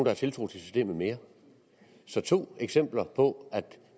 har tiltro til systemet mere så to eksempler på at